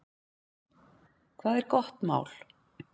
Hvað er gott mál?